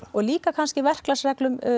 og líka kannski verklagsreglum